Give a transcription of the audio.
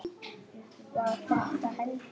Var þetta hendi?